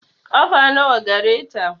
Ƙafa nawa gareta?